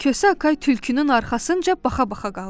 Kosa Akay tülkünün arxasınca baxa-baxa qaldı.